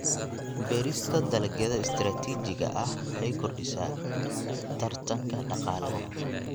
Beerista dalagyada istiraatiijiga ah waxay kordhisaa tartanka dhaqaalaha.